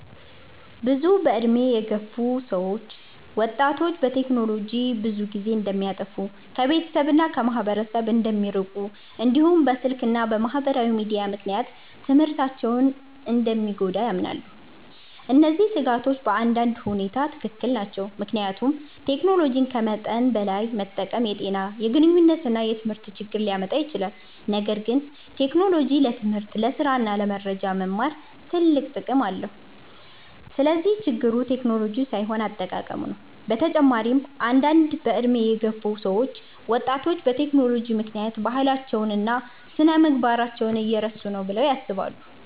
ብዙ ዕድሜ የገፉ ሰዎች ወጣቶች በቴክኖሎጂ ብዙ ጊዜ እንደሚያጠፉ፣ ከቤተሰብ እና ከማህበረሰብ እንደሚርቁ፣ እንዲሁም በስልክ እና በማህበራዊ ሚዲያ ምክንያት ትምህርታቸው እንደሚጎዳ ያምናሉ። እነዚህ ስጋቶች በአንዳንድ ሁኔታ ትክክል ናቸው፣ ምክንያቱም ቴክኖሎጂን ከመጠን በላይ መጠቀም የጤና፣ የግንኙነት እና የትምህርት ችግር ሊያመጣ ይችላል። ነገር ግን ቴክኖሎጂ ለትምህርት፣ ለስራ እና ለመረጃ መማር ትልቅ ጥቅም አለው። ስለዚህ ችግሩ ቴክኖሎጂው ሳይሆን አጠቃቀሙ ነው። በተጨማሪም አንዳንድ ዕድሜ የገፉ ሰዎች ወጣቶች በቴክኖሎጂ ምክንያት ባህላቸውን እና ስነ-ምግባራቸውን እየረሱ ነው ብለው ያስባሉ።